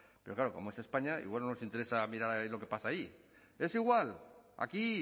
pero claro como es españa igual no nos interesa mirar lo que pasa allí es igual aquí